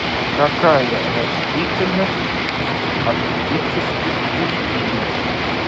какая растительность в арктических пустынях